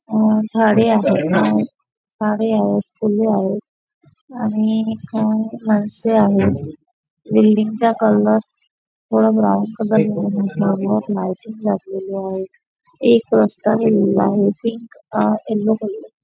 आणि झाडे आहेत झाडे आहेत फुले आहेत आणि एक माणसे आहेत बिल्डिंगचा कलर थोडा ब्राऊन कलर मध्ये लायटिंग लागलेली आहेत एक रस्ता गेलेला आहे पिंक आ यल्लो कलर --